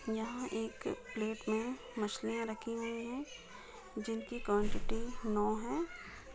यहाँ एक प्लेट मे मछलिया रखी हुई है जिनकी क्वॉन्टिटी नौ हैं ।